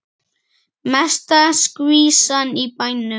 Mesta skvísan í bænum.